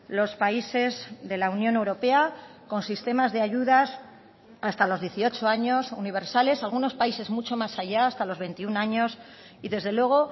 los países de la unión europea con sistemas de ayudas hasta los dieciocho años universales algunos países mucho más allá hasta los veintiuno años y desde luego